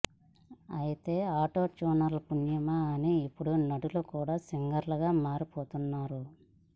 అయితే auto tuner పుణ్యమా అని ఇప్పుడు నటులు కూడా సింగర్లుగా మారిపోతున్నారు